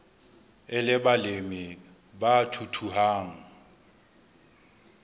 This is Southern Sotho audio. e le balemi ba thuthuhang